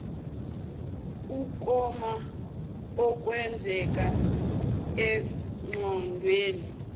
ukoma okwenzeka engqondweni